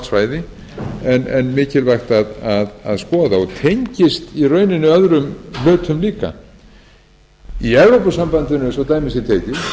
svæði en mikilvægt að skoða og tengist í rauninni öðrum hlutum líka í evrópusambandinu svo dæmi sé